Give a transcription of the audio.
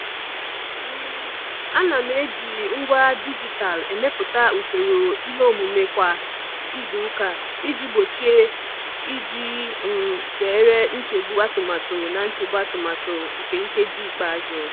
um Ana m eji ngwa dijitalụ emepụta usoro ihe omume kwa izuụka iji gbochie iji um zere nchegbu atụmatụ na nchegbu atụmatụ na nkeji ikpeazụ.